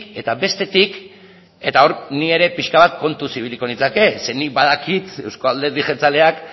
eta bestetik eta hor ni ere pixka bat kontuz ibiliko nintzake zeren nik badakit euzko alderdi jeltzaleak